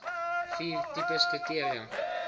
vier tipes kriteria